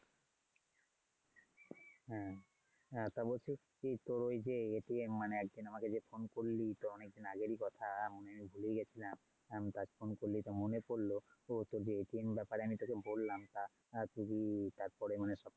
হুম। হ্যা তা বলছি কি তোর ওই যে মানে একদিন আমাকে যে phone করলি তো অনেক দিন আগেরই কথা মানে আমি ভুলেই যাচ্ছিলাম আজ phone করলি তো মনে পড়লো ও তোর এর ব্যাপারে আমি তোকে বললাম তা তুই কি তারপরে মানে?